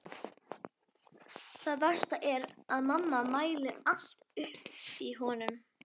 Það versta er að mamma mælir allt upp í honum.